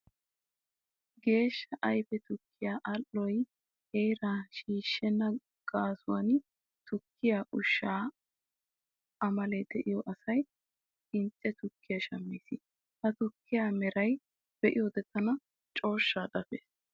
Geeshsha ayfe tukkiya al"oy heeraa shiishshenna gaasuwan tukkiya ushshaa amalee de'iyo asay qincce tukkiya shammees. Ha tukkiya meraa be'iyoode tana cooshshaa dafees.